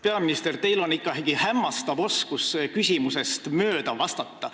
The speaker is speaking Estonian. Peaminister, teil on ikka hämmastav oskus küsimusest mööda vastata.